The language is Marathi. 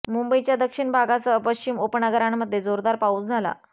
मुंबईच्या दक्षिण भागासह पश्चिम उपनगरांमध्ये जोरदार पाऊस झाला